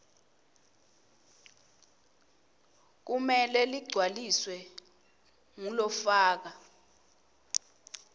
kumele ligcwaliswe ngulofaka